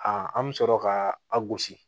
an bɛ sɔrɔ ka a gosi